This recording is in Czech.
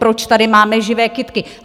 Proč tady máme živé kytky?